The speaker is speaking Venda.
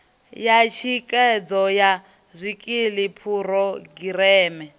ya thikhedzo ya zwikili phurogireme